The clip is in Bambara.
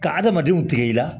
Ka adamadenw tigɛ i la